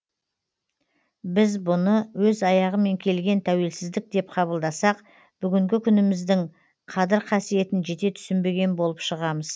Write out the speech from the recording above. біз бұны өз аяғымен келген тәуелсіздік деп қабылдасақ бүгінгі күніміздің қадір қасиетін жете түсінбеген болып шығамыз